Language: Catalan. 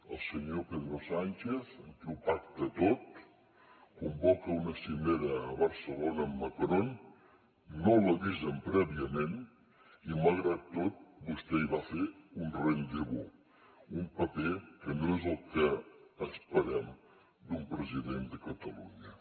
el senyor pedro sánchez amb qui ho pacta tot convoca una cimera a barcelona amb macron no l’avisen prèviament i malgrat tot vostè hi va a fer un rendez vous un paper que no és el que esperem d’un president de catalunya